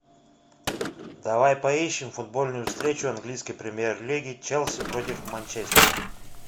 давай поищем футбольную встречу английской премьер лиги челси против манчестера